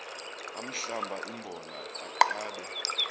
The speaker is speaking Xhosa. ahlamba imbola aqabe